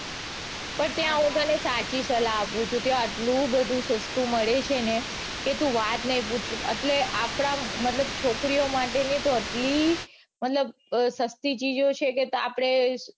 પણ ત્યાં હું તને સાચી સલાહ આપું છું ત્યાં આટલું બધું સસ્તું મળે છે ને કે તું વાત નઈ પૂછ એટલે આપડા મતલબ છોકરીઓ માટેની તો એટલી મતલબ સસ્તી ચીઝો છે કે આપડે